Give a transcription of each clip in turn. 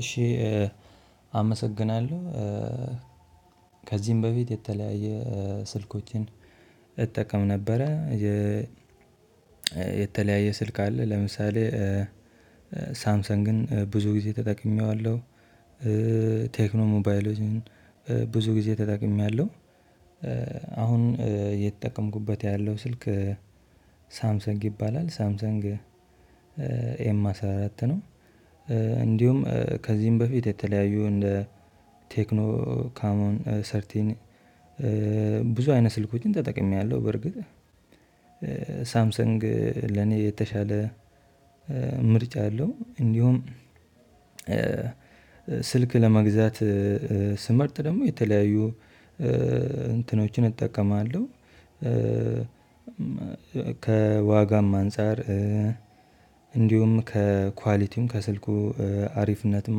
እሺ አመሰግናለሁ ከዚህም በፊት የተለያየ ስልኮችን እጠቀም ነበረ። የ የተለያየ ስልክ አለ ለምሳሌ ሳምሰንግን ብዙ ጊዜ ተጠቅሜዋለሁ። ቴክኖ ሞባይሎችን ብዙ ጊዜ ተጠቅሜያለሁ። አሁን የተጠቀምኩበት ያለው ስልክ ሳምሰንግ ይባላል ሳምሰንግ ኤም አስራ አራት ነው። እንዲሁም ከዚህም በፊት የተለያዩ እንደ ቴክኖካሞን ሰርቲን ብዙ አይነት ስልኮችን ተጠቅሜያለሁ። በርግጥ ሳምሰንግ ለኔ የተሻለ ምርጫ አለው። እንዲሁም ስልክ ለመግዛት ስመርጥ ደግሞ የተለያዩ እንትኖችን እጠቀማለሁ። ከ ከዋጋም አንፃር እንዲሁም ከኳሊቲም ከስልኩ አሪፍነትም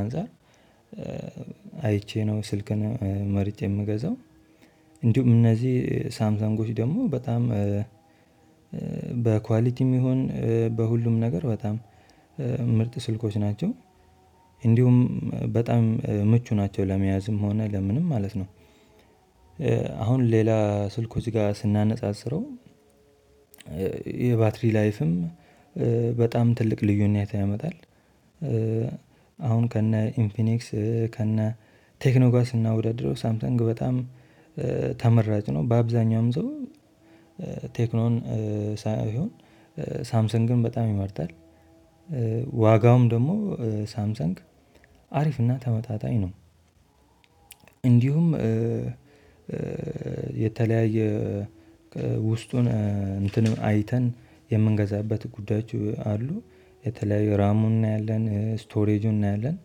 አንፃር አይቼ ነው ስልክን መርጬ የምገዛው። እንዲሁም እነዚህ ሳምሳንጎች ደግሞ በጣም በኳሊቲም ይሁን በሁሉም ነገር በጣም ምርጥ ስልኮች ናቸው። እንዲሁም በጣም ምቹ ናቸው ለመያዝም ሆነ ለምንም ማለት ነው። አሁን ሌላ ስልኮች ጋር ስናነጻጽረው የባትሪ ላይፍም በጣም ትልቅ ልዩነት ያመጣል። አሁን ከነ ኢንፊኒክስ ከነ ቴክኖ ጋር ስናወዳድረው ሳምሰንግ በጣም ተመራጭ ነው። በአብዛኛውም ሰው ቴክኖን ሳይሆን ሳምሰንግን በጣም ይመርጣል። ዋጋውም ደግሞ ሳምሰንግ አሪፍና ተመጣጣኝ ነው። እንዲሁም የተለያየ ውስጡን እንትን አይተን የምንገዛበት ጉዳዮች አሉ የተለያዩ ራሙን እናያለን ስቶሬጁን እናያለን።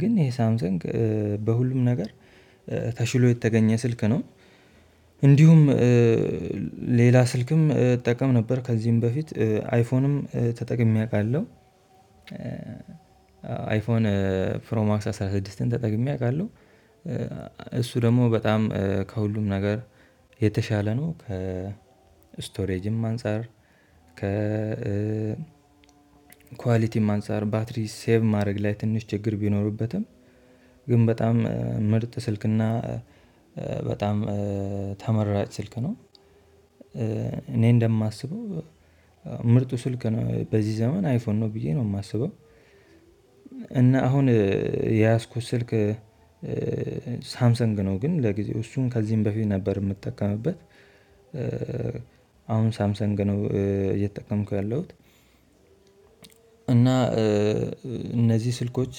ግን ይሄ ሳምሰንግ በሁሉም ነገር ተሽሎ የተገኘ ስልክ ነው። እንዲሁም ሌላ ስልክም እጠቀም ነበር ከዚህም በፊት አይፎንም ተጠቅሜ አውቃለሁ። አይፎን ፕሮ ማክስ አስራ ስድስትን ተጠቅሜ አውቃለሁ። እሱ ደግሞ በጣም ከሁሉም ነገር የተሻለ ነው ከ ስቶሬጅም አንፃር ከ ኳሊቲም አንፃር ባትሪ ሴቭ ማድረግ ላይ ትንሽ ችግር ቢኖርበትም ግን በጣም ምርጥ ስልክና በጣም ተመራጭ ስልክ ነው። እኔ እንደማስበው ምርጡ ስልክ ነው በዚህ ዘመን አይፎን ነው ብዬ ነው የማስበው። እና አሁን የያዝኩት ስልክ ሳምሰንግ ነው ግን ለጊዜው እሱን ከዚህም በፊት ነበር የምጠቀምበት። አሁን ሳምሰንግ ነው እየተጠቀምኩ ያለሁት። እና እነዚህ ስልኮች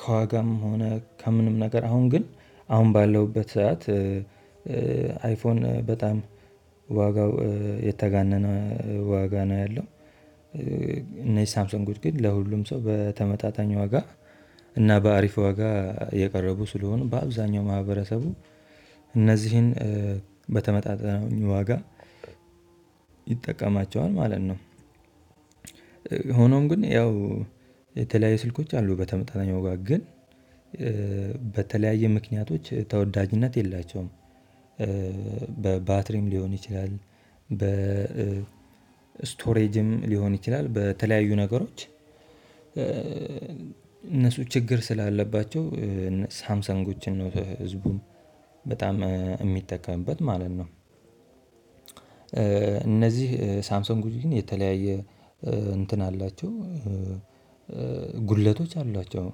ከዋጋም ሆነ ከምንም ነገር አሁን ግን አሁን ባለውበት ሰዓት አይፎን በጣም ዋጋው የተጋነነ ዋጋ ነው ያለው። እነዚህ ሳምሰንጎች ግን ለሁሉም ሰው በተመጣጣኝ ዋጋ እና በአሪፍ ዋጋ የቀረቡ ስለሆነ በአብዛኛው ማህበረሰቡ እነዚህን በተመጣጣኝ ዋጋ ይጠቀማቸዋል ማለት ነው። ሆኖም ግን ያው የተለያዩ ስልኮች አሉ በተመጣጣኝ ዋጋ ግን በተለያዩ ምክንያቶች ተወዳጅነት የላቸውም። በባትሪም ሊሆን ይችላል በ ስቶሬጅም ሊሆን ይችላል በተለያዩ ነገሮች እነሱ ችግር ስላለባቸው ሳምሰንጎችን ህዝቡ በጣም የሚጠቀምበት ማለት ነው። እነዚህ ሳምሰንጎች ግን የተለያየ እንትን አላቸው ጉድለቶች አሏቸው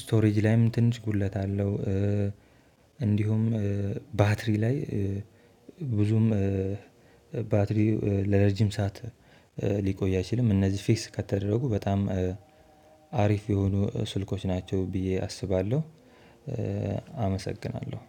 ስቶሬጅ ላይም ትንሽ ጉድለት አለው። እንዲሁም ባትሪ ላይ ብዙም ባትሪ ለረጅም ሰዓት ሊቆይ አይችልም እነዚህ ፊክስ ከተደረጉ በጣም አሪፍ የሆኑ ስልኮች ናቸው ብዬ አስባለሁ። አመሰግናለሁ።